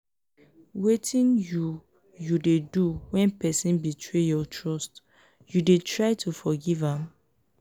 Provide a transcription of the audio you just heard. wetin you you dey do when person betray your trust you dey try to forgive am?